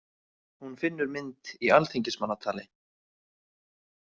Hún finnur mynd í Alþingismannatali.